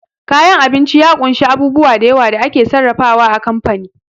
Kayan abinci ya kunsa a bubu dayawa da ake sarrafa wa a kamfani